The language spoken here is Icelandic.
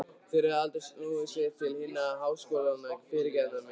Þeir höfðu aldrei snúið sér til hinna háskólagengnu fyrirrennara minna.